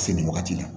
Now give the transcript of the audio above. Se nin wagati la